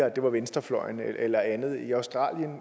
at det var venstrefløjen eller andet i australien